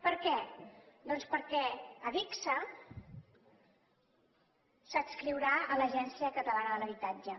per què doncs perquè adigsa s’adscriurà a l’agència catalana de l’habitatge